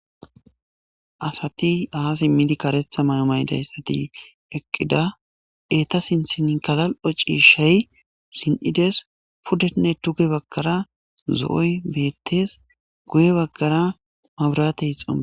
Asati aazi midi karetha mayo mayidi eqqida. Eeta sinthankka galal7o ciishay zin7idees. Pudenne dugge bagara zo7oy beetees. Guye bagara mabiraatey xomppes.